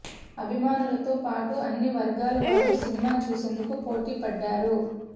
అభిమానులతో పాటు అన్ని వర్గాల వారు సినిమా చూసేందుకు పోటీ పడ్డారు